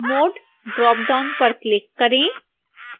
mode dropdown पर click करें